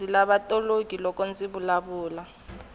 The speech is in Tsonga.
ndzi lava toloki loko ndzi vulavula